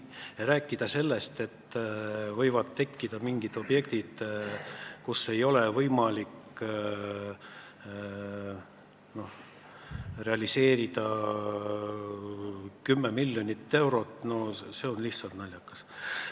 Rääkida sellest, et võivad tekkida mingid objektid, kus ei ole võimalik realiseerida 10 miljonit eurot, on lihtsalt naljakas.